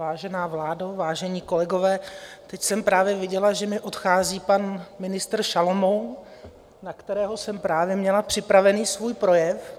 Vážená vládo, vážení kolegové, teď jsem právě viděla, že mi odchází pan ministr Šalomoun, na kterého jsem právě měla připraven svůj projev.